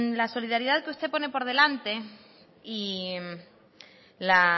la solidaridad que usted pone por delante y la